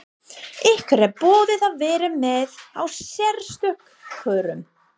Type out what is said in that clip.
Ykkur er boðið að vera með á sérstökum kjörum?